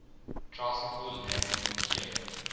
tricycle landing gear